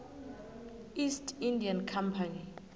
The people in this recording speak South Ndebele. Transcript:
east india company